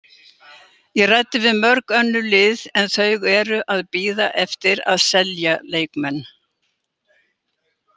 Ég ræddi við mörg önnur lið en þau eru að bíða eftir að selja leikmenn.